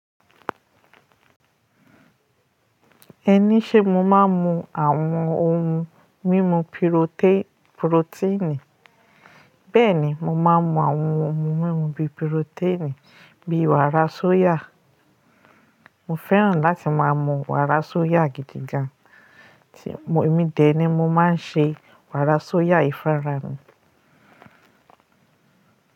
Ẹni ṣé mo máa ń mu àwọn ohun mímu piroté- protein? Bẹ́ẹ̀ni, mo máa ń mu àwọn ohun mímu bi protein, bíi wàrà soya. Mo fẹ́ràn láti máa mu wàrà soya gidi gan. Tí mo- èmi dé ni mo máa ń ṣe wàrà soya ì fúnra mi.